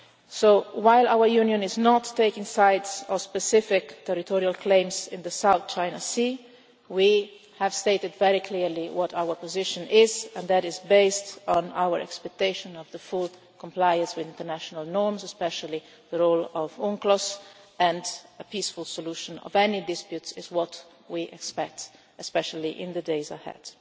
So while our Union is not taking sides on specific territorial claims in the South China Sea, we have stated very clearly what our position is and that is based on our expectation of the full compliance with international norms, especially the role of UNCLOS and a peaceful solution of any disputes is what we expect, especially in the days ahead.